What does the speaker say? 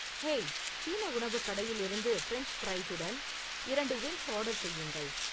hey, சீன உணவுக் கடையில் இருந்து ஃபிரெஞ்ச் ஃபிரைசுடன் இரண்டு விங்ஸ் ஆர்டர் செய்யுங்கள்